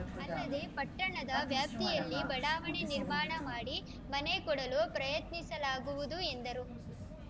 ಅಲ್ಲದೆ ಪಟ್ಟಣದ ವ್ಯಾಪ್ತಿಯಲ್ಲಿ ಬಡಾವಣೆ ನಿರ್ಮಾಣ ಮಾಡಿ ಮನೆ ಕೊಡಲು ಪ್ರಯತ್ನಿಸಲಾಗುವುದು ಎಂದರು